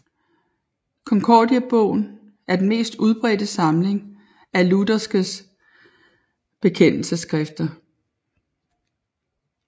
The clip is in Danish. Konkordiebogen er den mest udbredte samling af lutherske bekendelsesskrifter